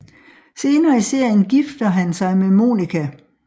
Senere i serien gifter han sig med Monica